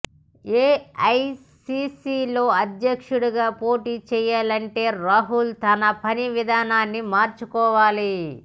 ఏఐసీసీలో అధ్యక్షుడిగా పోటీ చేయాలంటే రాహుల్ తన పని విధానాన్ని మార్చుకోవాలి